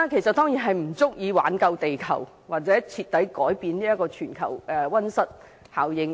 這當然不足以挽救地球，或徹底改變全球的溫室效應。